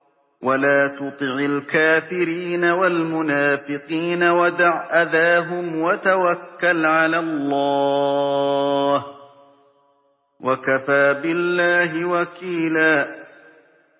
وَلَا تُطِعِ الْكَافِرِينَ وَالْمُنَافِقِينَ وَدَعْ أَذَاهُمْ وَتَوَكَّلْ عَلَى اللَّهِ ۚ وَكَفَىٰ بِاللَّهِ وَكِيلًا